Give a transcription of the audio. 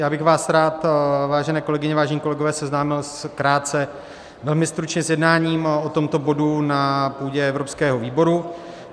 Já bych vás rád, vážené kolegyně, vážení kolegové, seznámil krátce, velmi stručně s jednáním o tomto bodu na půdě Evropského výboru.